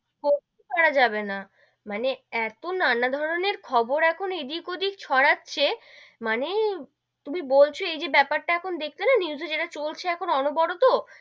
মানে এতো নানা ধরণের খবর এখন এদিক ওদিক ছড়াচ্ছে, মানে তুমি বলছো এই যে ব্যাপার টা এখন দেখবে না news যে যেটা চলছে এখন অনবরত